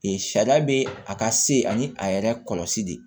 Ee sariya bɛ a ka se ani a yɛrɛ kɔlɔsi de